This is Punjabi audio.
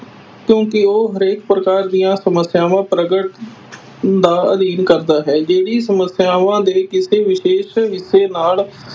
ਕਿਉਂਕਿ ਉਹ ਹਰੇਕ ਪ੍ਰਕਾਰ ਦੀਆਂ ਸਮੱਸਿਆਵਾਂ ਪ੍ਰਗਟ ਦਾ ਅਧਿਐਨ ਕਰਦਾ ਹੈ ਜਿਹੜੀ ਸਮੱਸਿਆਵਾਂ ਦੇ ਕਿਸੇ ਵਿਸ਼ੇਸ਼ ਵਿਸ਼ੇ ਨਾਲ